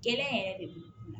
Gɛlɛya yɛrɛ de la